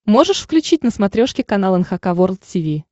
можешь включить на смотрешке канал эн эйч кей волд ти ви